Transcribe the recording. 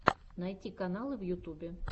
найти каналы в ютубе